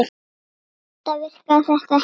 Enda virkaði þetta ekki þannig.